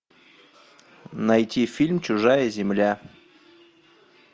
найти фильм чужая земля